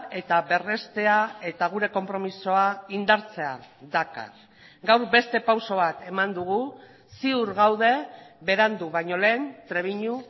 eta berreztea eta gure konpromisoa indartzea dakar gaur beste pauso bat eman dugu ziur gaude berandu baino lehen trebiñu